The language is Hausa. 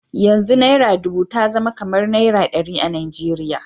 Yanzu naira dubu ta zama kamar naira ɗari a Najeriya.